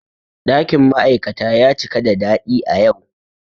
Ɗakin ma'aikata ya cika da daɗi a yau.